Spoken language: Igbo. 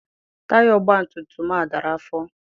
Taya ọgbatumtum a dara afọ.